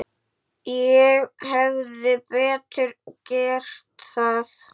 Ég hefði betur gert það.